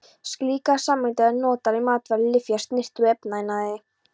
Slíkar sameindir eru notaðar í matvæla-, lyfja-, snyrti- og efnaiðnaði.